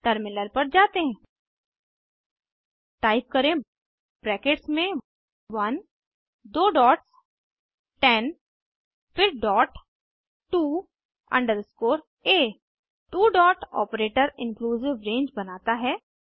terminal पर जाते हैं टाइप करें ब्रैकेट्स में 1 दो डॉट्स 10 फिर डॉट टू अंडरस्कोर आ two dot operator inclusive range बनाता है